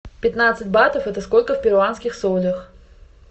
пятнадцать батов это сколько в перуанских солях